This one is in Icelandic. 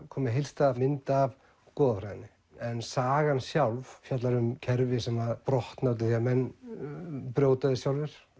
koma með heildstæða mynd af goðafræðinni en sagan sjálf fjallar um kerfi sem brotna út af því að menn brjóta þau sjálfir